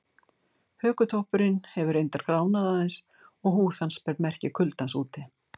Hökutoppurinn hefur reyndar gránað aðeins og húð hans ber merki kuldans úti.